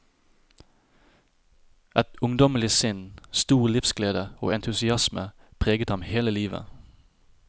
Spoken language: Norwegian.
Et ungdommelig sinn, stor livsglede og entusiasme preget ham hele livet.